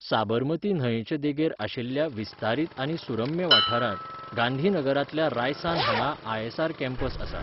साबरमती न्हंयचे देगेर आशिल्ल्या विस्तारीत आनी सुरम्य वाठारांत, गांधीनगरांतल्या रायसान हांगा आय.एस.आर. कॅम्पस आसा.